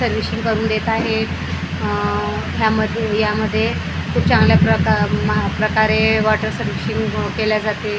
Servicing करून देत आहे अ या म या मध्ये खूप चांगल्या प्रका म प्रकारे वॉटर सर्विसिंग केल्या जाते .